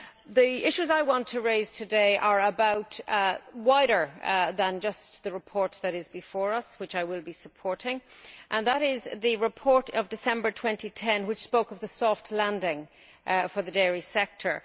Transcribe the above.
The issues I want to raise today are wider than just the report that is before us which I will be supporting and relate to the report of December 2010 which spoke of the soft landing for the dairy sector.